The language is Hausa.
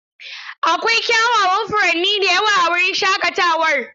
Akwai kyawawan furanni da yawa a wurin shaƙatawar.